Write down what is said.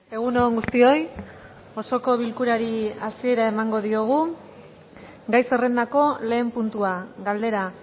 egun on guztioi osoko bilkurari hasiera emango diogu gai zerrendako lehen puntua galdera